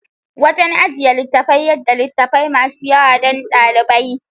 Wajan ajjiye littafai yada littafai masu yawa dan dalibai